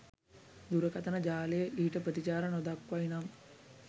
දුරකථන ජාලය ඊට ප්‍රතිචාර නොදක්වයි නම්